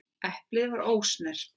Eplið var ósnert.